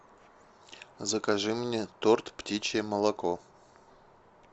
закажи мне торт птичье молоко